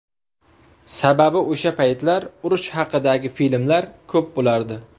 Sababi o‘sha paytlar urush haqidagi filmlar ko‘p bo‘lardi.